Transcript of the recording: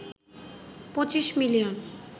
২৫ million